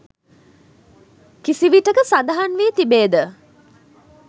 කිසිවිටෙක සඳහන් වී තිබේද?